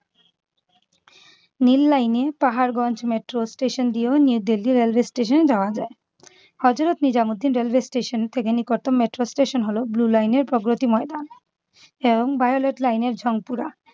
নীল line এ Paharganj metro station দিয়েও new Delhi railway station যাওয়া যায়। হযরত নিজামুদ্দিন রেলওয়ে স্টেশন থেকে নিকটতম metro station হলো blue line এর প্রগতি ময়দান এবং violet line এর ঝংপুরা।